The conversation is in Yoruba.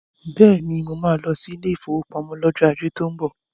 Beni, mo máa lọ sí ilé ìfowópamọ́ lọ́jọ́ ajé tó ń bọ̀.